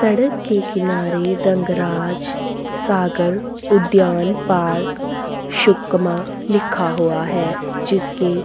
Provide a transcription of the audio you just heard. सड़क के किनारे रंगाराज सागर उद्यान पार्क सुकमा लिखा हुआ है जिसके--